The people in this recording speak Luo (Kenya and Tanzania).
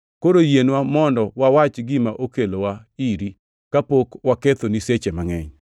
Koro yienwa mondo wawach gima okelowa iri, kapok wakethoni seche mangʼeny.